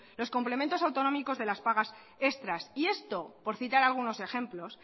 los complementos autonómicos de las pagas extras y esto por citar algunos ejemplos